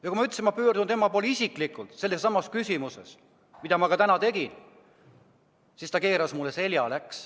Ja kui ma ütlesin, et ma pöördun tema poole isiklikult sellessamas küsimuses, mida ma ettekandes ka tegin, siis ta keeras mulle selja.